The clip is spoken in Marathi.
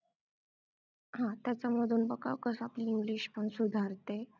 हा त्यांच्यामधून मग कसं आपली english पण सुधारते